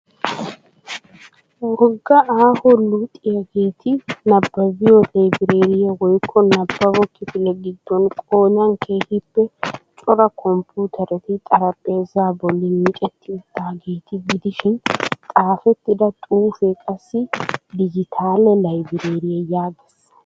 Wogga aaho luxxiyageeti nabbabiyo libreeriya woykko nabbabo kifile gidoon qoodan keehiippe cora kompputeretti xaraphpheezaa bolli micetti uttaageeta gidishshiin xaafettida xufee qassi digitaale libreeriya yaagees.